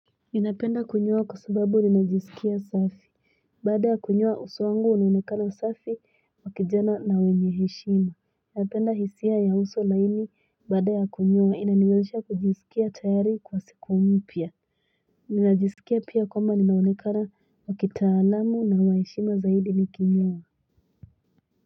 Inapenda kunyuwa kusubabu ninajiisukiya safi. Bada kunyuwa usuangu ununikala safi makijana na wenyeheshima. Enapenda hisia ya uso laini bada kunyuwa. Inaniweza kujisukiya tayari kwa siku umpia. Ninajiisukiya pia koma ninunikala wakita alamu na waishima zaidi nikiniwa.